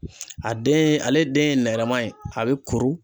A den ale den ye nɛrɛma ye a bɛ kuru.